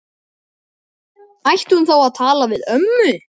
Ætti hún þá að tala við ömmu?